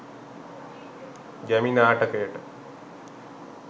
ගැමි නාටකයට